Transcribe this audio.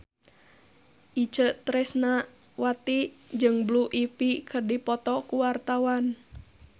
Itje Tresnawati jeung Blue Ivy keur dipoto ku wartawan